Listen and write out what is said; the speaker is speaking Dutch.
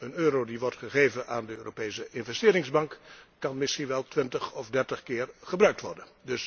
Een euro die wordt gegeven aan de Europese Investeringsbank kan misschien wel twintig of dertig keer gebruikt worden.